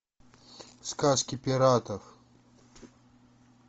сказки пиратов